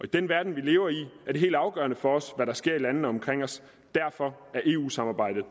den verden vi lever i er det helt afgørende for os hvad der sker i landene omkring os derfor er eu samarbejdet i